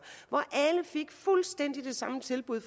alle fik fuldstændig det samme tilbud